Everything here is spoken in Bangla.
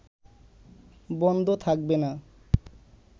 বন্ধ থাকবে না